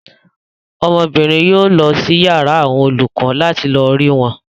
Ọmọbìnrin náà yóò lọ sí yàrá àwọn olùkọ láti lọ rí wọn.